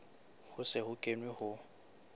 ho se ho kenwe ho